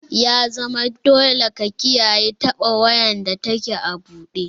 Ya zama dole ka koyi kiyaye taɓa wayar da take a buɗe!